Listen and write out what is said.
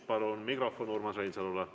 Palun mikrofon Urmas Reinsalule.